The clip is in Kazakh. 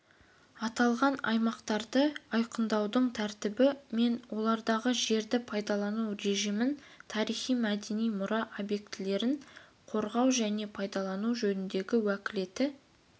аталған аймақтарды айқындаудың тәртібі мен олардағы жерді пайдалану режимін тарихи-мәдени мұра объектілерін қорғау және пайдалану жөніндегі уәкілетті